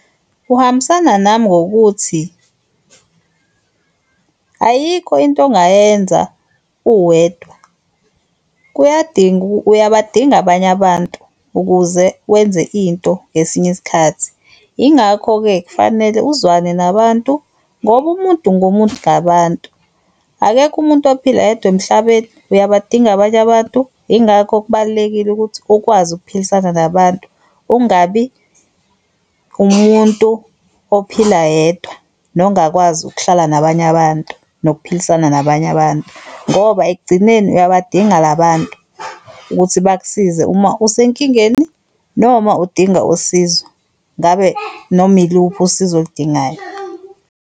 Kuhambisana nami ngokuthi ayikho into ongayenza uwedwa. Kuyadinga, uyabadinga abanye abantu ukuze wenze into ngesinye isikhathi. Yingakho-ke kufanele uzwane nabantu ngoba umuntu ngumuntu ngabantu. Akekho umuntu ophila yedwa emhlabeni, uyabadinga abanye abantu yingakho kubalulekile ukuthi ukwazi ukuphilisana nabantu ungabi umuntu ophila yedwa nongakwazi ukuhlala nabanye abantu, nokuphilisana nabanye abantu. Ngoba ekugcineni uyabadinga la bantu ukuthi bakusize uma usenkingeni noma udinga usizo, ngabe noma yiluphi usizo oludingayo.